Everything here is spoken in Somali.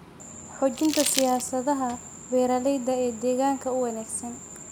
Xoojinta siyaasadaha beeralayda ee deegaanka u wanaagsan.